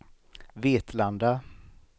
Vetlanda